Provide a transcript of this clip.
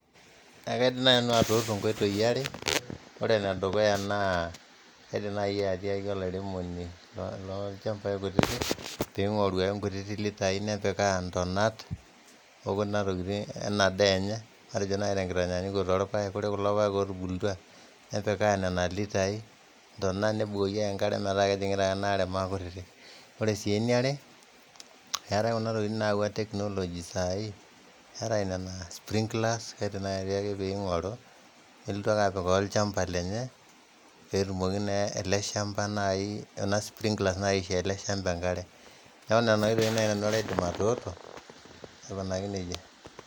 Ekaidim nai nanu atuutu nkoitoi are, ore nedukuya naa aidim naai atiaki olairemoni oo inchambai kutitik peing'oru ake nkutitik litaii nepikaa intonat ena daa enye atejo naiite nkitanyanyukoto oo irpaek, ore kulo paek ootubulutwa nepikaa nena litaii intona nebukoki inkare metaa kejing'ita ake enaare maa kutiti, ore sii enaare eatae kuna tokitin naewua technology sahihi eatae ina naa sprinkler kedim naii ake peing'oru nelotu ake apikaa olchamba lenye peetumoki naa ale shamba naaii ena sprinkler aishoo ale shamba enkare, neake nenia oitoi naidim atuutu baake aikoneja.